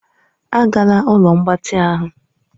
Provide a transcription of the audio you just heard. Agala ụlọ mgbatị ahụ!